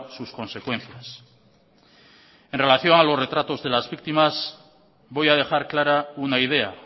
sus consecuencias en relación a los retratos de las víctimas voy a dejar clara una idea